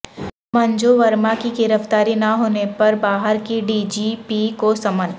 منجو ورما کی گرفتاری نہ ہونے پر بہار کے ڈی جی پی کو سمن